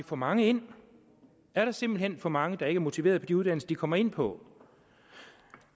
for mange ind er der simpelt hen for mange der ikke er motiverede på de uddannelser de kommer ind på